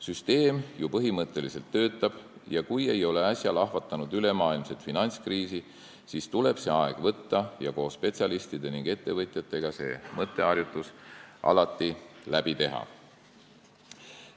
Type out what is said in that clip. Süsteem ju põhimõtteliselt töötab ja kui ei ole äsja lahvatanud ülemaailmset finantskriisi, siis tuleb see aeg võtta ning koos spetsialistide ja ettevõtjatega see mõtteharjutus läbi teha.